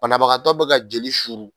Banabagatɔ bɛ ka jeli suru.